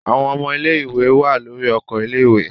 Àwọn ọmọ ilé-ìwé wà lórí oko ilé-ìwé.